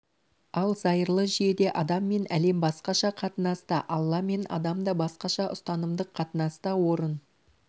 ал зайырлы жүйеде адам мен әлем басқаша қатынаста алла мен адам да басқаша ұстанымдық қатынаста орын